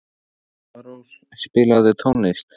Alparós, spilaðu tónlist.